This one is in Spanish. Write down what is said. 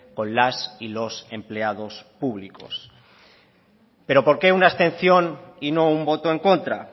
con las y los empleados públicos pero por qué una abstención y no un voto en contra